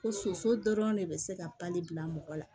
Ko soso dɔrɔn de bɛ se ka pali bila mɔgɔ la